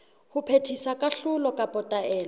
ho phethisa kahlolo kapa taelo